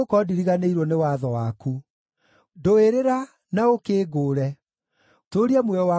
Ndũĩrĩra na ũkĩngũũre; tũũria muoyo wakwa kũringana na kĩĩranĩro gĩaku.